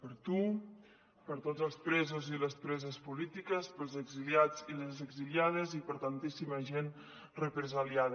per a tu per a tots els presos i les preses polítiques per als exiliats i les exiliades i per a tantíssima gent represaliada